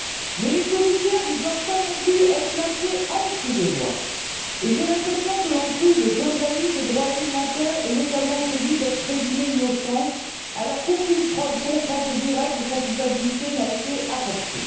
Mais les commissaires ne doivent pas, non plus, être placés en dessous des lois et j'ai l'impression que l'on prive John Dalli de droits élémentaires et, notamment, de celui d'être présumé innocent alors qu'aucune preuve concrète et directe de sa culpabilité n'a été apportée.